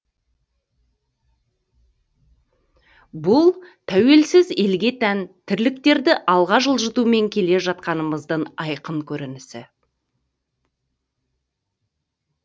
бұл тәуелсіз елге тән тірліктерді алға жылжытумен келе жатқанымыздың айқын көрінісі